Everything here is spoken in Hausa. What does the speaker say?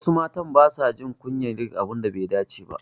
Wasu matan basa jin kunyar yin abun da bai dace ba.